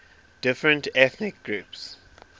different ethnic groups